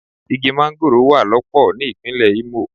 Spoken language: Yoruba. Igi mángóròò wà lọ́pọ̀ ní ìpínlè Imo.